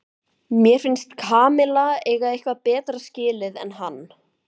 Mér finnst Kamilla eiga eitthvað betra skilið en hann.